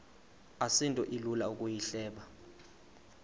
asinto ilula ukuyihleba